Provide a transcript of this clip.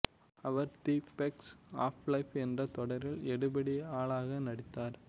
our The Facts of Life என்ற தொடரில் எடுபிடி ஆளாக நடித்தார்